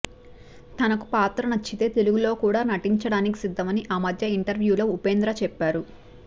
తనకు పాత్ర నచ్చితే తెలుగులో కూడా నటించడానికి సిద్ధమని ఆ మధ్య ఇంటర్వ్యూలో ఉపేంద్ర చెప్పారు